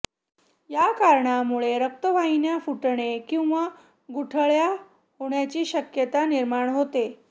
या कारणांमुळे रक्तवाहिन्या फुटणे किंवा गुठळ्या होण्याची शक्यता निर्माण होते